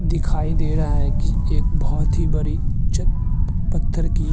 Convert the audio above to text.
दिखाई दे रहा है कि एक बहोत ही बरी चट पत्थर की --